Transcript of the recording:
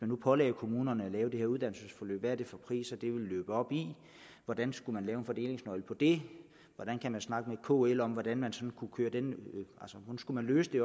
nu pålagde kommunerne at lave det her uddannelsesforløb hvad er det for priser det ville løbe op i hvordan skulle man lave en fordelingsnøgle for det hvordan kan man snakke med kl om hvordan man skulle løse det